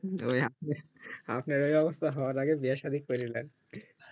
ওই আপনি আপনার এই অবস্থা হওয়ার আগে বিয়ে সাধি কইরা লেন